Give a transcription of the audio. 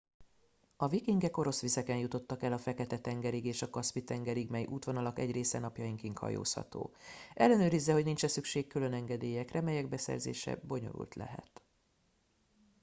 a vikingek orosz vizeken jutottak el a fekete tengerig és a kaszpi tengerig mely útvonalak egy része napjainkig hajózható ellenőrizze hogy nincs e szükség külön engedélyekre melyek beszerzése bonyolult lehet